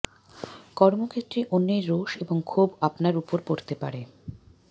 কর্মক্ষেত্রে অন্যের রোষ এবং ক্ষোভ আপনার উপর পড়তে পারে